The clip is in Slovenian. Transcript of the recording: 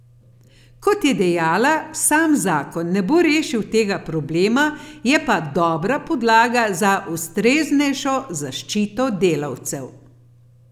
Kot je dejala, sam zakon ne bo rešil tega problema, je pa dobra podlaga za ustreznejšo zaščito delavcev.